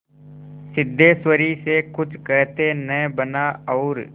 सिद्धेश्वरी से कुछ कहते न बना और